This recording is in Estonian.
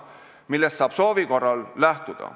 Sellest saab soovi korral lähtuda.